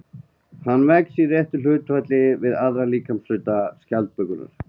Hann vex í réttu hlutfalli við aðra líkamshluta skjaldbökunnar.